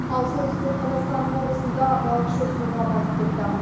ал солтүстік қазақстан облысында балықшы суға батып кетті